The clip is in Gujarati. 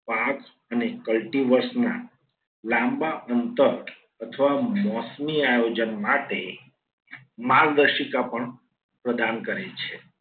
પાક અને કલ્ટી વર્ષના લાંબા અંતર અથવા મોસમી આયોજન માટે માર્ગદર્શિકા પણ પ્રદાન કરે છે.